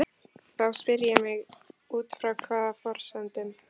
Þá spyr ég mig: Út frá hvaða forsendum?